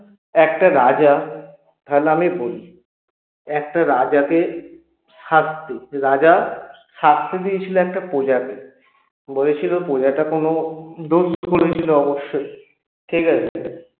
একটা রাজা একটা রাজাকে রাজা শাস্তি দিয়েছিল একটা প্রজাকে বলেছিল প্রজাটা কোনো দোষ করেছিল অবশ্যই ঠিকাছে